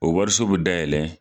O wariso be dayɛlɛ